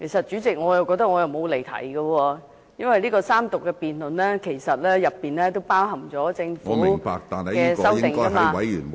主席，我覺得我沒有離題，因為三讀辯論其實涵蓋政府的修正案......